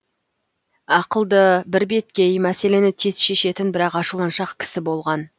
ақылды бірбеткей мәселені тез шешетін бірақ ашуланшақ кісі болған